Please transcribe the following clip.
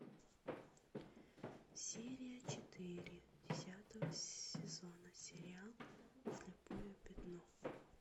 серия четыре десятого сезона сериал слепое пятно